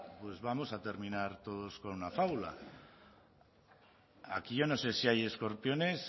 pues vamos a terminar todos con la fábula aquí yo no sé si hay escorpiones